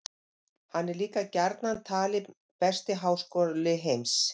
Hann er líka gjarnan talinn besti háskóli heims.